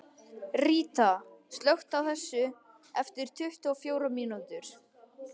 Ríta, slökktu á þessu eftir tuttugu og fjórar mínútur.